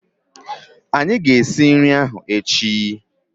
Anyị ga-esi nri ahụ echi